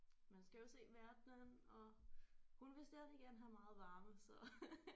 Men skal jo se verdenen og hun vil stadig gerne have meget varme så